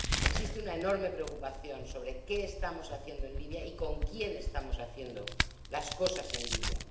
Existe una enorme preocupación sobre qué estamos haciendo en Libia y con quién estamos haciendo las cosas en Libia.